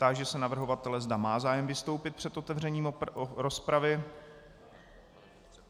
Táži se navrhovatele, zda má zájem vystoupit před otevřením rozpravy.